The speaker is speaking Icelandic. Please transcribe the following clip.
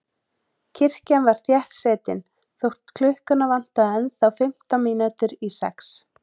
Kirkjan var þéttsetin þótt klukkuna vantaði ennþá fimmtán mínútur í sex.